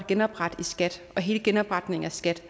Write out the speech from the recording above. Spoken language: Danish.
genoprette i skat og hele genopretningen af skat